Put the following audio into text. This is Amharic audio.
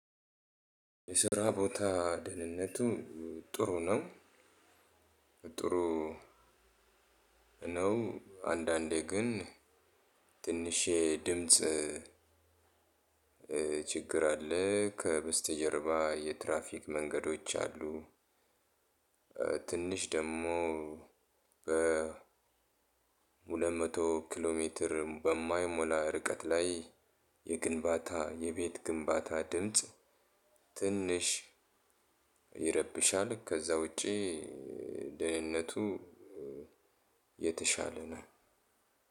የስራ ቦታ ደህንነቱ ጥሩ ነው። ጥሩ ነው። አንዳንዴ ግን ትንሽ የድምጽ ችግር አለ ከበስተጀርባ የትራፊክ መንገዶች አሉ። ትንሽ ደግሞ በ ሁለት መቶ ኪሎ ሜትር በማይሞላ ርቀት ላይ የግንባታ የቤት ግንባታ ድምጽ ትንሽ ይረብሻል። ከዛ ውጪ ደህንነቱ የተሻለ ነው።